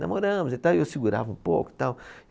Namoramos e tal, e eu segurava um pouco e tal.